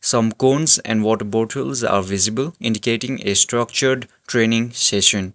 some cones and water bottles are visible indicating a structured training session.